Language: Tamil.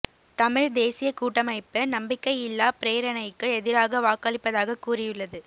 தமிழ்த் தேசியக் கூட்டமைப்பு நம்பிக்கையில்லாப் பிரேரணைக்கு எதிராக வாக்களிப்பதாக கூறியுள்ளது